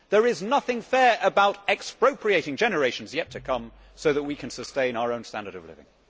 There is nothing fair about expropriating generations yet to come so that we can sustain our own standard of living.